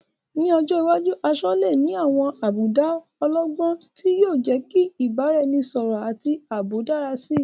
Ní ọjọ́ iwájú, aṣọ lè ní àwọn àbùdá ọlọ́gbọ́n, tí yóò jẹ́ kí ìbáraẹnisọ̀rọ̀ àti ààbò dára sí i.